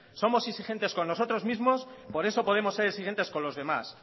somos exigentes con nosotros mismos por eso podemos ser exigentes con los demás